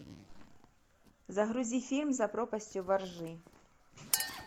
загрузи фильм за пропастью во ржи